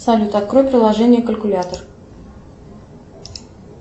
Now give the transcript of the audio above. салют открой приложение калькулятор